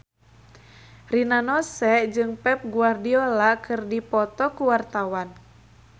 Rina Nose jeung Pep Guardiola keur dipoto ku wartawan